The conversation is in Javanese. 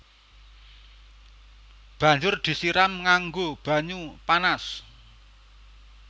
Banjur disiram nganggo banyu panas